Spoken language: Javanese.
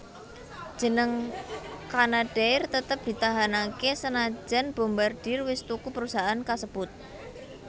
Jeneng Canadair tetep ditahanake senajan Bombardier wis tuku perusahaan kasebut